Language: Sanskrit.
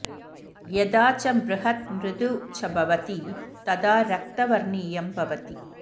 यदा च बृहत् मृदु च भवति तदा रक्तवर्णीयं भवति